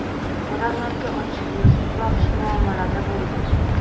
Odamlarga ochiq yuz va xushmuomalada bo‘ldi.